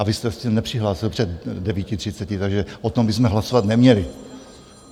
A vy jste se nepřihlásil před 9.30, takže o tom bychom hlasovat neměli.